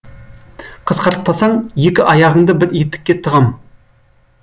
қысқартпасаң екі аяғыңды бір етікке тығам